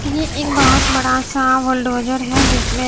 ये एक बहोत बड़ा सा बुलडोजर है जिसमें--